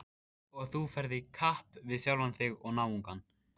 Og þú ferð í kapp við sjálfan þig og náungann.